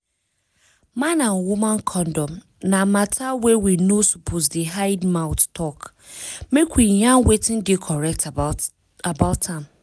man and woman condom na matter wey we no suppose dey hide mouth talk make we yarn wetin dey correct about am